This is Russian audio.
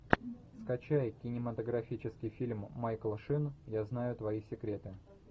скачай кинематографический фильм майкл шин я знаю твои секреты